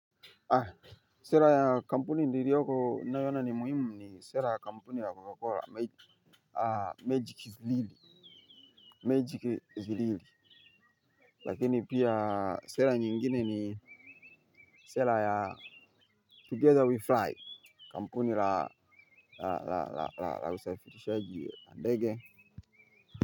Sera ya kampuni niliyoko ninayoiona ni muhimu ni sera kampuni ya Coca-cola magic real. Lakini pia sera nyingine ni sera ya together we fly, kampuni la, la, la usafirishaji wa ndege.